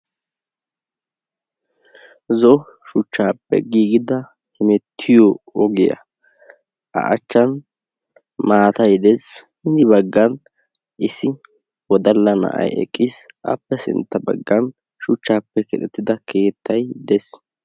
Zo"o shuchchaappe giigida hemmettiyo ogiya a achchan maatay de'ees hin baggan issi wodalla na'ay eqqiis appe sintta baggan shuchchaappe keexxettida keettay de'ees.